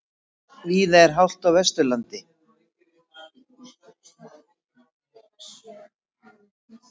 Víða hált á Vesturlandi